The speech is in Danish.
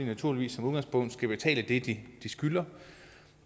naturligvis som udgangspunkt skal betale det de skylder